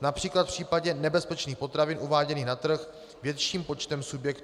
například v případě nebezpečných potravin uváděných na trh větším počtem subjektů.